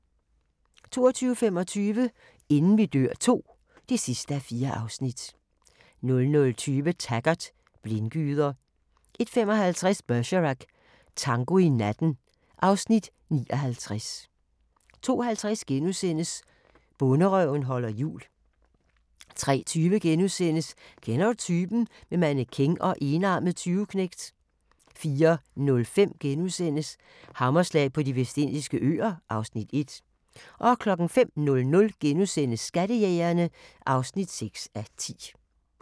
22:25: Inden vi dør II (4:4) 00:20: Taggart: Blindgyder 01:55: Bergerac: Tango i natten (Afs. 59) 02:50: Bonderøven holder jul * 03:20: Kender du typen? - med mannequin og enarmet tyveknægt * 04:05: Hammerslag på De Vestindiske Øer (Afs. 1)* 05:00: Skattejægerne (6:10)*